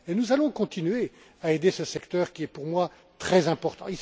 Et nous allons continuer à aider ce secteur qui est pour moi très important.